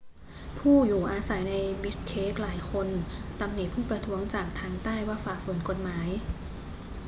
ผู้อยู่อาสัยในบิชเคกหลายคนตำหนิผู้ประท้วงจากทางใต้ว่าฝ่าฝืนกฎหมาย